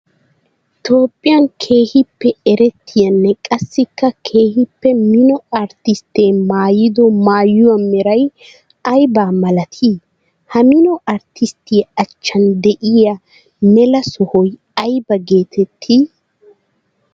Toophphiyan keehippe erettiyaanne qassikka keehippe mino artistte maayido maayuwaa meray aybba malatti? Ha mino artisttiyaa achchan de'iyaa mela sohoy aybba geetetti?